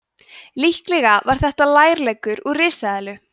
líklega var þetta lærleggur úr risaeðlu